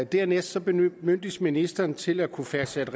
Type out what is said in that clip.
dernæst bemyndiges ministeren til at kunne fastsætte